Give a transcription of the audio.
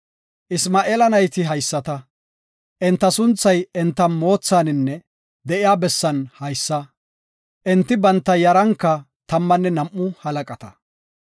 Isma7eela nayti haysata; enta sunthay enta moothaninne de7iya bessan haysa. Enti banta yaranka tammanne nam7u halaqata.